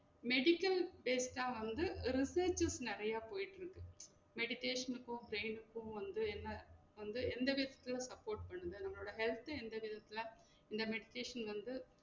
Medical based ஆ வந்து ஒரு researches நெறையா போயிட்டு இருக்கு meditation க்கும் brain க்கும் வந்து என்ன வந்து எந்த support பண்ணல நம்மளோட health introduce ல இந்த meditation வந்து